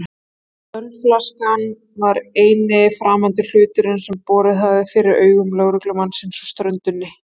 Ölflaskan var eini framandi hlutur sem borið hafði fyrir augu lögreglumannsins á ströndinni.